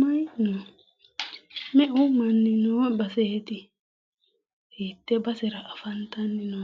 mayi no? Meu manni noo baseti, hiite basera afantanno?